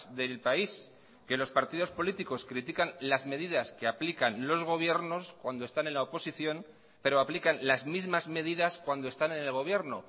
del país que los partidos políticos critican las medidas que aplican los gobiernos cuando están en la oposición pero aplican las mismas medidas cuando están en el gobierno